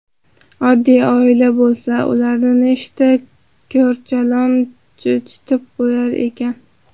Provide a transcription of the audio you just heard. Oddiy oila bo‘lsa... Ularni nechta korchalon cho‘chitib qo‘ydi ekan?